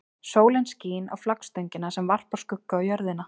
Sólin skín á flaggstöngina sem varpar skugga á jörðina.